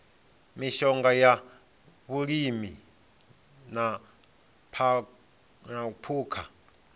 mishonga ya vhulimi na phukha